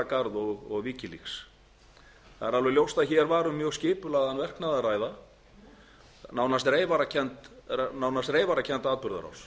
garð og wikileaks það er alveg ljóst að hér var um mjög skipulagðan verknað að ræða nú nánast reyfarakennda